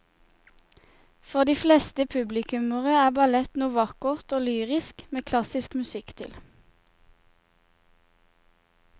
For de fleste publikummere er ballett noe vakkert og lyrisk med klassisk musikk til.